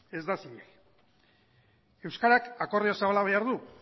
ez da zilegi euskarak akordio zabala behar du